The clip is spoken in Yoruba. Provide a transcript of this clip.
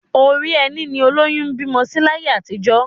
Orí ẹní ni olóyún ń bímọ sí láyé àtijọ́